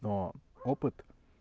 но опыт